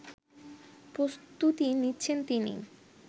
প্রস্তুতি নিচ্ছেন তিনি